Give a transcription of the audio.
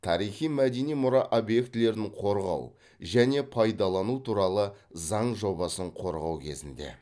тарихи мәдени мұра объектілерін қорғау және пайдалану туралы заң жобасын қорғау кезінде